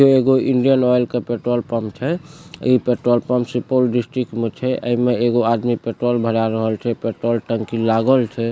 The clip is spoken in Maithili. ये एगो इंडियन ऑयल का पेट्रोल पंप छै इ पेट्रोल पंप सुपौल डिस्ट्रिक्ट में छे एमे एगो आदमी पेट्रोल भरा रहल छे पेट्रोल टंकी लागल छे।